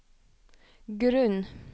grunn